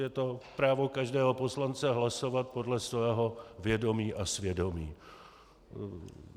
Je to právo každého poslance hlasovat podle svého vědomí a svědomí.